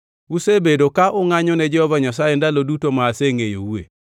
Usebedo ka ungʼanyo ne Jehova Nyasaye ndalo duto ma asengʼeyoue.